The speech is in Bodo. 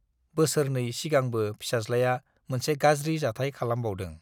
बोसोरनै सिगांबो फिसाज्लाया मोनसे गाज्रि जाथाइ खालामबावदों।